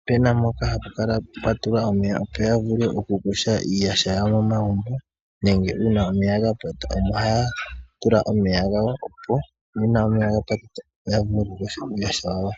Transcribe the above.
opena mpoka hapu kala pwa tulwa omeya opo yavule okukosha iiyaha yawo momagumbo nenge uuna omeya gapata, ohaya tula omeya gawo opo uuna omeya gapata yavule okukoshamo iiyaha yawo.